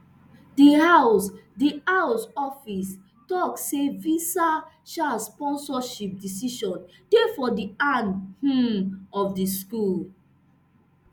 di house di house office tok say visa um sponsorship decisions dey for di hand um of di school